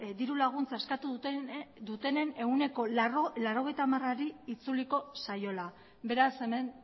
diru laguntza eskatu dutenen ehuneko laurogeita hamarari itzuliko zaiola beraz hemen